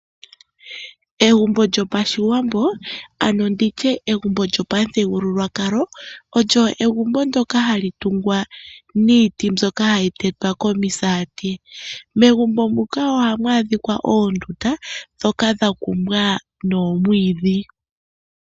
Egumbo lyo pashiwambo ano nditye egumbo lyo pamuthigululwakalo, olyo egumbo ndoka hali tungwa niiti mbyoka hayi tetwa komisati. Megumbo muka ohamu adhika oondunda dhoka dha kumbwa nomwiidhi.